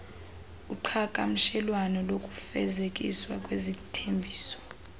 uqhagamshelwano lokufezekiswa kwezithembiso